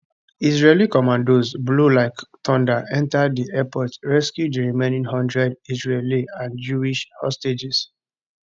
israeli commandos blow like thunder enta di airport rescue di remaining one hundred israeli and jewish hostages